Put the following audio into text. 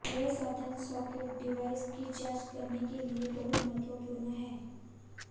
यह साधन socket device की जांच करने के लिए बहुत महत्वपूर्ण है